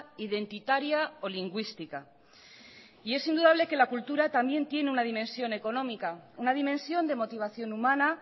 identitaria o lingüística y en indudable que la cultura también tiene una dimensión económica una dimensión de motivación humana